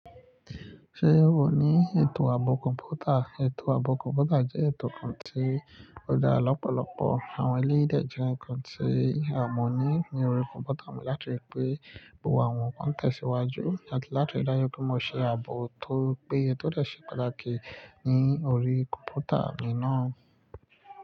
Ṣé o ní ètò ààbò kọ̀ǹpútà? Ètò ààbò kọ̀ǹpútà jẹ́ ètò kan tí ó dára lọ́pọ̀lọpọ̀ àwọn eléyìí dè jẹ́ ǹkan tí a mọ̀ ní ní orí kọ̀ǹpútà mi láti riì pẹ́ gbogbo àwọn ǹkan tẹ̀síwájú àti láti rí dájú pé mo ṣe ààbò tó péye tó lè ṣe pàtàkì ní orí kọ̀ǹpútà mi náà.